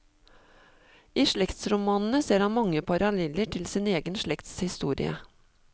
I slektsromanene ser han mange paraleller til sin egen slekts historie.